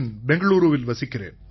பெங்களூரூவில் வசிக்கிறேன்